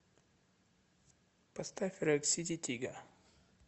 поставь рэк сити тига